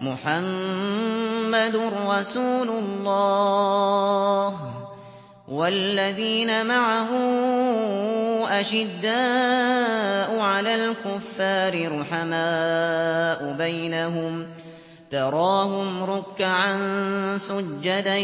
مُّحَمَّدٌ رَّسُولُ اللَّهِ ۚ وَالَّذِينَ مَعَهُ أَشِدَّاءُ عَلَى الْكُفَّارِ رُحَمَاءُ بَيْنَهُمْ ۖ تَرَاهُمْ رُكَّعًا سُجَّدًا